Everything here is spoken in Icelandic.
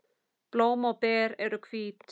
Blóm og ber eru hvít.